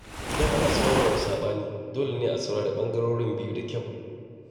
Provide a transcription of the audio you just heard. Idan ana son warware saɓani, dole ne a saurari ɓangarorin biyu da kyau.